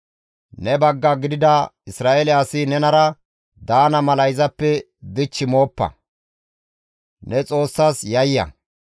Ne bagga gidida Isra7eele asi nenara daana mala izappe dich mooppa; ne Xoossas yayya.